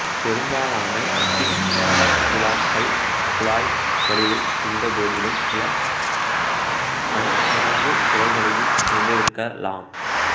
பெரும்பாலான ஃபிஸ்துலாக்கள் குழாய் வடிவில் இருந்தபோதிலும் சில பன்மடங்கு கிளைகளையும் கொண்டிருக்கலாம்